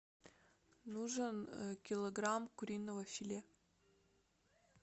нужен килограмм куриного филе